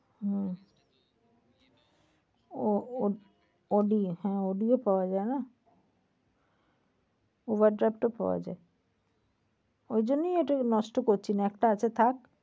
হম au~audi হ্যাঁ audi পাওয়া যায় না। uber drive তো পাওয়া যায়। ওইজন্যই এটা নষ্ট করছি না একটা আছে থাক।